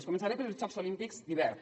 començaré pels jocs olímpics d’hivern